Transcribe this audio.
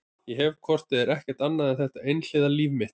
Ég hef hvort eð er ekkert annað en þetta einhliða líf mitt.